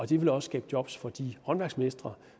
det vil også skabe job for de håndværksmestre